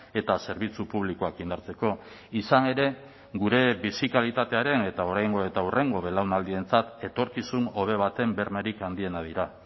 eta zerbitzu publikoak indartzeko izan ere gure bizi kalitatearen eta oraingo eta hurrengo belaunaldientzat etorkizun hobe baten bermerik handienak dira